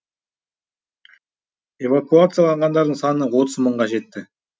эвакуацияланғандардың саны отыз мыңға жетті